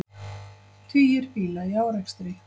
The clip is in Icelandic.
Tugir bíla í árekstri